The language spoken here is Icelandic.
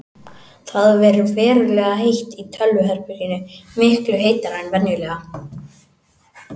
Það ver verulega heitt í tölvuherberginu, miklu heitara en venjulega.